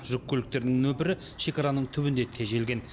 жүк көліктерінің нөпірі шекараның түбінде тежелген